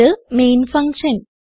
ഇത് main function